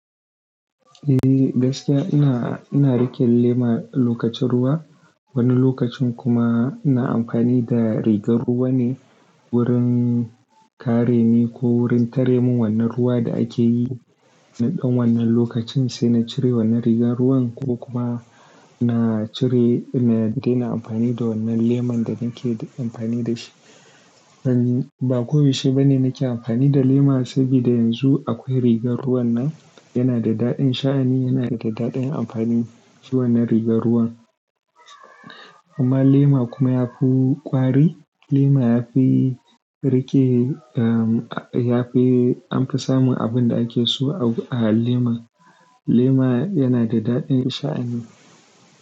Eh, gaskiya ina, ina riƙe lema lokacin ruwa. Wani lokacin kuma ina amfani da rigar ruwa ne wurin kare ni ko wurin tare mun wannan ruwa da ake yi. Na ɗan wannan lokacin, sai na cire wannan rigar ruwan ko kuma na cire, in dena amfani da wannan leman da nike amfani da shi. En, ba koyaushe ba ne nake amfani da lema sabida yanzu akwai rigar ruwan nan, yana da daɗin sha'ani, yana da ɗaɗin amfani shi wannan rigar ruwan. Amma lema kuma yafi ƙwari, lema yafi rike, ah, yafi, bamfi sa mun abun da ake so a lema. Lema yana da daɗin sha'ani.